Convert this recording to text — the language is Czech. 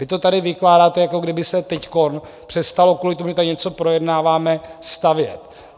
Vy to tady vykládáte, jako by se teď přestalo kvůli tomu, že tady něco projednáváme, stavět.